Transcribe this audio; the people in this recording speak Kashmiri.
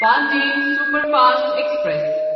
Pandian superfast express